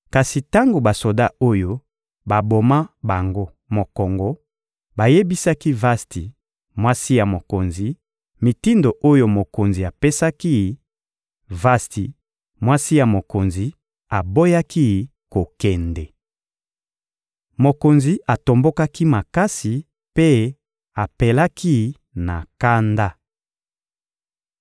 Kasi tango basoda oyo baboma bango mokongo bayebisaki Vasti, mwasi ya mokonzi, mitindo oyo mokonzi apesaki; Vasti, mwasi ya mokonzi, aboyaki kokende. Mokonzi atombokaki makasi mpe apelaki na kanda.